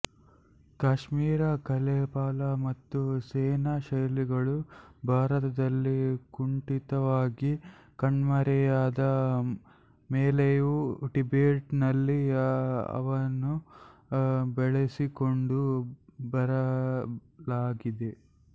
ಕಾಶ್ಮೀರಿ ಕಲೆ ಪಾಲ ಮತ್ತು ಸೇನಾ ಶೈಲಿಗಳು ಭಾರತದಲ್ಲಿ ಕುಂಠಿತವಾಗಿ ಕಣ್ಮರೆಯಾದ ಮೇಲೆಯೂ ಟಿಬೆಟಿನಲ್ಲಿ ಅವನ್ನು ಬೆಳೆಸಿಕೊಂಡು ಬರಲಾಗಿದೆ